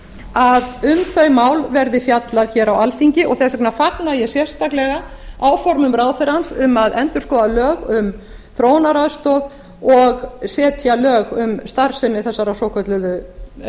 að um þau mál verði fjallað hér á alþingi og þess vegna fagna ég sérstaklega áformum ráðherrans um að endurskoða lög um þróunaraðstoð og setja lög um starfsemi þessarar svokölluðu